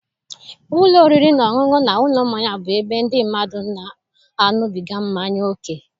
Ụlọ oriri na ọṅụṅụ na ụlọ mmanya bụ ebe ndị mmadụ na-aṅụbiga mmanya ókè.